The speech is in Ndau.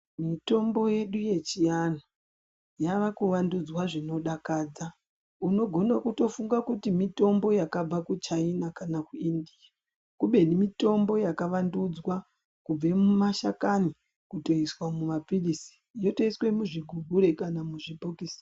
Mitombo yedu yechiantu yavakuvandudzwa zvinodakadza. Unogona kutofunga kuti mitombo yakabva kuchaina kana kuindiya. Kubeni mitombo yakawandudzwa kubve mumashakani kutoiswa mumaphirisi yotoiswa muzvigubhure kana muzvibhokisi.